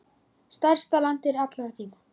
Stærsta landdýr allra tíma.